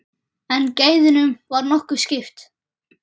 En gæðunum var nokkuð skipt.